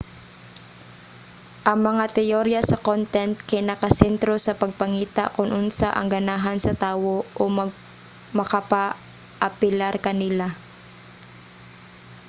ang mga teyorya sa content kay nakasentro sa pagpangita kon unsa ang ganahan sa tawo o makapaapilar kanila